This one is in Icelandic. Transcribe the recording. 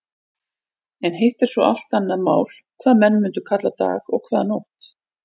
En hitt er svo allt annað mál hvað menn mundu kalla dag og hvað nótt.